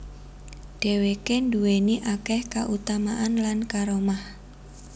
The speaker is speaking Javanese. Dhèwké nduwèni akèh kautamaan lan karamah